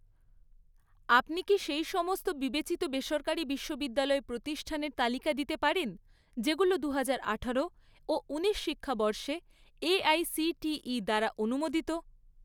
আপনি কি সেই সমস্ত বিবেচিত বেসরকারি বিশ্ববিদ্যালয় প্রতিষ্ঠানের তালিকা দিতে পারেন, যেগুলো দুহাজার আঠারো ও উনিশ শিক্ষাবর্ষে এআইসিটিই দ্বারা অনুমোদিত?